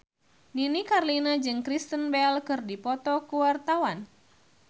Nini Carlina jeung Kristen Bell keur dipoto ku wartawan